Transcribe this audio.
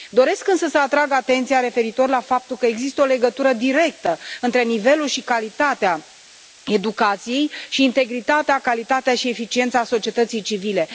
Doresc însă să atrag atenția referitor la faptul că există o legătură directă între nivelul și calitatea educației și integritatea, calitatea și eficiența societății civile.